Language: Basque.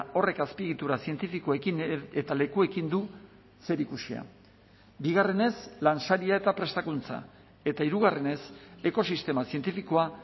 horrek azpiegitura zientifikoekin eta lekuekin du zerikusia bigarrenez lansaria eta prestakuntza eta hirugarrenez ekosistema zientifikoa